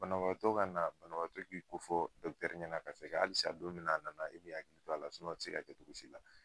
Banabaatɔ ka na, banabaatɔ k'i kofɔ ɲɛna ka sɛngɛ ,halisa don min na a nana e m'i hakili to a la a te se ka kɛ cogo si la.